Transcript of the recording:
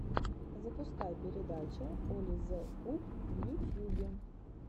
запускай передача оли зе куб в ютьюбе